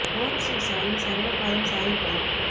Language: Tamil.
ஓம் ஸ்ரீ சாயி சர்வ பாதம் சாயி பாதம்